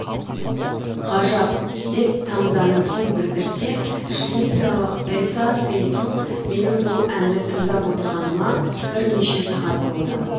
ғажап деп таңданысын білдірсе швециялық эса сейтту менің бұл әнді тыңдап отырғаныма бірнеше сағат болды